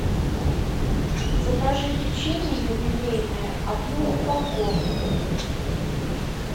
закажи печенье юбилейное одну упаковку